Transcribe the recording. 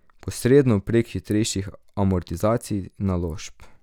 Posredno, prek hitrejših amortizacij naložb.